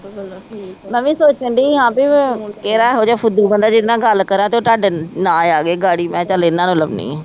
ਮੈ ਵੀ ਸੋਚਣ ਦੀ ਹਾਂ ਪੀ ਕਿਹੜਾ ਇਹੋ ਜਿਹਾ ਫੁੱਦੂ ਬੰਦਾ ਜਿਦੇ ਨਾਲ ਗੱਲ ਕਰਾ ਤੇ ਉਹ ਤੁਹਾਡੇ ਨਾ ਆਗੇ ਗਾੜੀ ਮੈ ਕਿਹਾ ਚਲ ਇਹਨਾਂ ਨੂੰ ਲਾਉਣੀ ਆ।